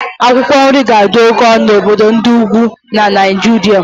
Akwụkwọ nri ga-adị oke ọnụ na obodo ndị ugwu na Naijiria